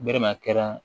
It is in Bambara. Bere kɛra